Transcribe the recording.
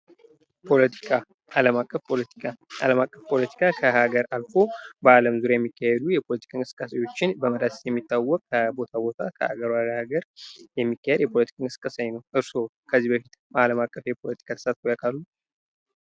ፖለቲካ አለም አቀፍ ፖለቲካ ከሃገር አልፎ በአለም ዙሪያ የሚካሄዱ ፖለቲካዊ እንቅስቃሴዎችን በመዳሰስ የሚታወቅ ከቦታ ወደ ቦታ ከሃገር ወደ ሃገር የሚካሄድ የፖለቲካ እንቅስቃሴ አይነት ነው። እርሶ ከዚህ በፊት በአለም አቀፍ ፖለቲካ ላይ ተሳትፈው ያውቃሉ?